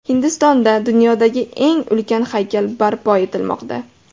Hindistonda dunyodagi eng ulkan haykal barpo etilmoqda .